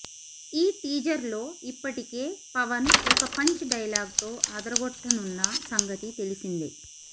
ఈ టీజర్ లో ఇప్పటికే పవన్ ఒక పంచ్ డైలాగ్ తో అదరగొట్టనున్న సంగతి తెలిసిందే